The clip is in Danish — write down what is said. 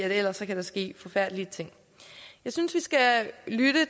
ellers kan der ske forfærdelige ting jeg synes vi skal lytte